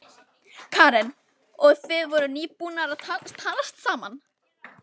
Karen: Og þið voruð nýbúnir að talast saman?